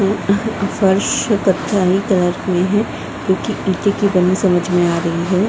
अ अह फर्श कलर में हैं जो ईटे की बने समझ में आ रही है।